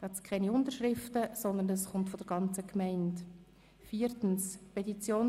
Hier liegen keine Unterschriften vor, weil die Petition von der Gemeinde eingereicht wurde.